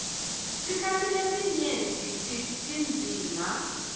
sikhatsi lesinyenti tindzima